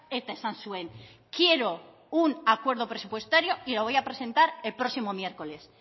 eta esan zuen quiero un acuerdo presupuestario y lo voy a presentar el próximo miércoles